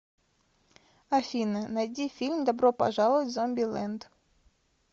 афина найди фильм добро пожаловать в зомби лэнд